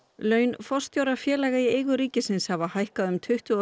laun forstjóra félaga í eigu ríkisins hafa hækkað um tuttugu og